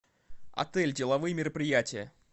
отель деловые мероприятия